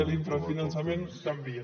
de l’infrafinançament canvien